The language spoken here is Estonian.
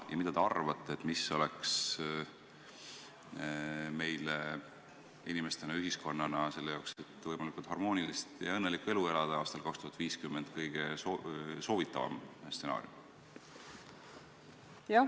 Mida te arvate, mis oleks meile inimestena ja ühiskonnana, selleks et võimalikult harmoonilist ja õnnelikku elu elada aastal 2050, kõige soovitavam stsenaarium?